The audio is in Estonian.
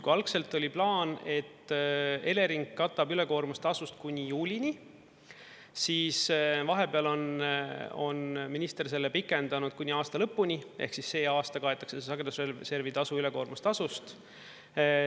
Kui algselt oli plaan, et Elering katab ülekoormustasust kuni juulini, siis vahepeal on minister selle pikendanud kuni aasta lõpuni, ehk siis see aasta kaetakse sagedusservi tasu ülekoormustasust.